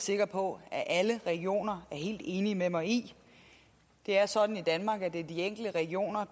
sikker på at alle regioner er helt enige med mig i det er sådan i danmark at det er de enkelte regioner